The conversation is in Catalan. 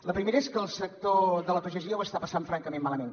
la primera és que el sector de la pagesia ho està passant francament malament